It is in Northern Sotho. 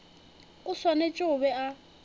o swanetše go be a